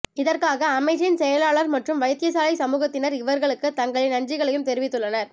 இதற்காக அமைச்சின் செயலாளர் மற்றும் வைத்தியசாலை சமூகத்தினர் இவர்களுக்கு தங்களின் நன்றிகளையும் தெரிவித்துள்ளனர்